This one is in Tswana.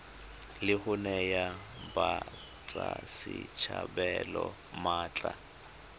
la go naya batswasetlhabelo maatla